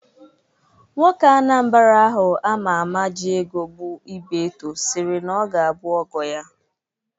Nwoke Anambra ahụ ama ama ji ego bụ Ibeto sịrị na ọ ga-abụ ọgọ ya.